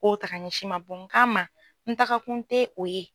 O ta k'a ɲɛsin n ma o kama n takakun tɛ o ye.